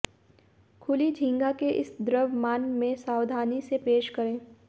खुली झींगा के इस द्रव्यमान में सावधानी से पेश करें